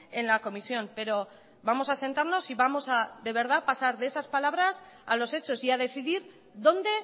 en la comisión pero vamos a sentarnos y vamos a de verdad pasar de esas palabras a los hechos y a decidir dónde